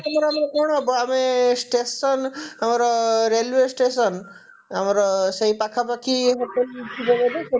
ଆମର ଆମର କଣ ହବ ଆମେ station ର railway station ଆମର ସେଇ ପାଖାପାଖି hotel ଥିବ ବୋଲେ ସେଠି